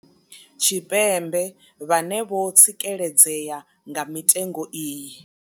Tshipembe vhane vho tsikeledzea nga mitengo iyi.